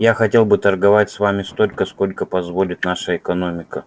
я хотел бы торговать с вами столько сколько позволит наша экономика